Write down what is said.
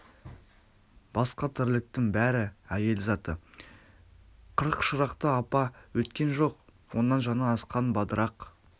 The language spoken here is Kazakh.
басқа тірліктің бәрі әйел заты қырық шырақты апа өйткен жоқ оннан жаңа асқан бадырақ